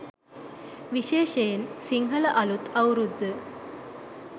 විශේෂයෙන් සිංහල අලුත් අවුරුද්ද